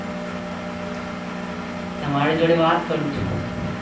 તમારી જોડે વાત કરું છું.